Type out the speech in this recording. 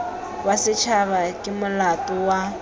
wa setšhaba ke molato wa